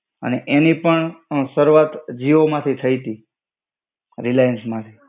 અને એની પણ અ શરૂઆત જીઓ માંથી થઇ તી. રિલાયન્સ માંથી.